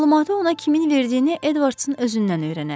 Məlumatı ona kimin verdiyini Edvardsın özündən öyrənərik.